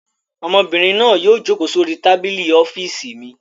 Ọmọbìnrin náà yóò jókòó sórí tábìlì ọ́fíísì mi.